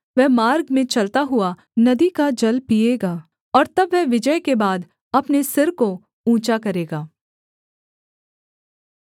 वह मार्ग में चलता हुआ नदी का जल पीएगा और तब वह विजय के बाद अपने सिर को ऊँचा करेगा